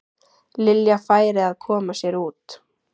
Lilja færi að koma sér út.